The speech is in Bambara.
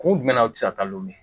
Kun jumɛn na u ti se ka taa n'olu ye